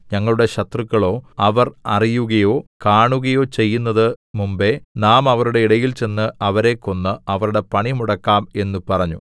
ഞങ്ങളുടെ ശത്രുക്കളോ അവർ അറിയുകയോ കാണുകയോ ചെയ്യുന്നതിന് മുമ്പെ നാം അവരുടെ ഇടയിൽ ചെന്ന് അവരെ കൊന്ന് അവരുടെ പണി മുടക്കാം എന്ന് പറഞ്ഞു